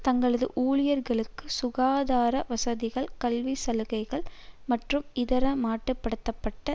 தங்களது ஊழியர்களுக்கு சுகாதார வசதிகள் கல்வி சலுகைகள் மற்றும் இதர மட்டு படுத்த பட்ட